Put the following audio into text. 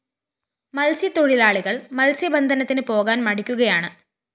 മത്സ്യത്തൊഴിലാളികള്‍ മത്സ്യബന്ധനത്തിന് പോകാന്‍ മടിക്കുകയാണ്